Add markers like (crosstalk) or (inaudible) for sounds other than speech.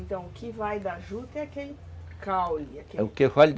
Então, o que vai da juta é aquele caule (unintelligible)